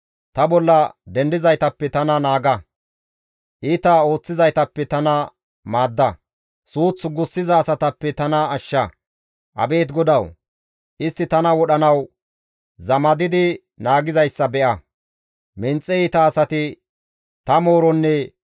Abeet GODAWU! Istti tana wodhanawu zamadidi naagizayssa be7a! menxe iita asati tani mooronne nagara ooththontta dishin ta bolla duulateettes.